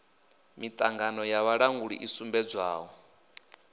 miṱangano ya vhalanguli i sumbedzaho